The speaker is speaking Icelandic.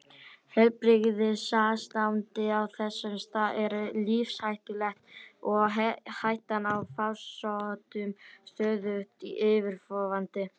Heilbrigðisástandið á þessum stað er lífshættulegt og hættan á farsóttum stöðugt yfirvofandi.